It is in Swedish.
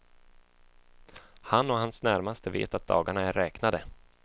Han och hans närmaste vet att dagarna är räknade.